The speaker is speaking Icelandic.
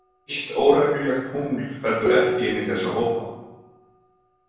Eitt óreglulegt tungl fellur ekki inn í þessa hópa.